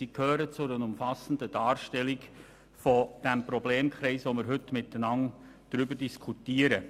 Sie gehören zu einer umfassenden Darstellung des heute gemeinsam diskutierten Problemkreises.